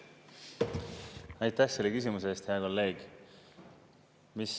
Aitäh selle küsimuse eest, hea kolleeg!